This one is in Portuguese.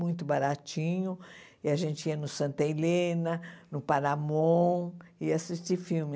muito baratinho, e a gente ia no Santa Helena, no Paramont, ia assistir filme.